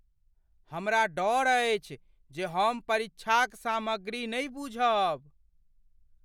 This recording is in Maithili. हमरा डर अछि जे हम परीक्षाक सामग्री नहि बुझब।